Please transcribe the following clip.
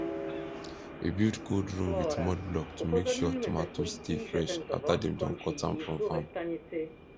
we build cold room with mud block to make sure tomato stay fresh after dem don cut am from farm